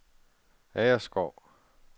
Agerskov